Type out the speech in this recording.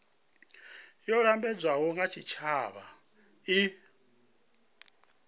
yo lambedzwaho nga tshitshavha i